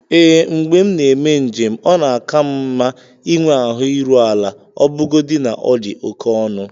Ee, mgbe m na-eme njem ọ na-ka m mma ịnwe ahụ iru ala ọbụgodi na ọ dị oke ọnụ